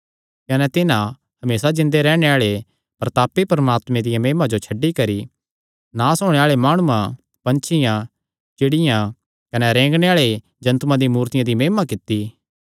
कने तिन्हां हमेसा जिन्दे रैहणे आल़े प्रतापी परमात्मे दिया महिमा जो छड्डी करी नास होणे आल़े माणुआं पंछियां चिड़ियां कने रैंगणे आल़े जन्तुआं दी मूर्तिया दी महिमा कित्ती